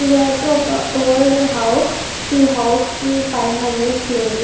ఇది ఐతే ఒక ఓల్డ్ హౌస్ ఈ హౌస్ కి పైన రూఫ్ లేదు.